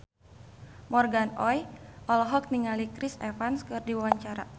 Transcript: Morgan Oey olohok ningali Chris Evans keur diwawancara